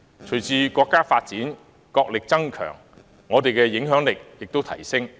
隨着國家不斷發展，國力增強，我們的影響力也會提升。